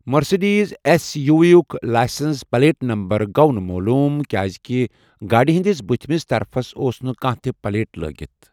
Mercedes S U V یُک licence plate number گوو نہٕ معلوٗم کیٛازِکہِ گاڑِ ہِنٛدِس بٕتِھمِس طرفس اوس نہٕ کانٛہہ تہِ پلیٹ لٲگِتھ۔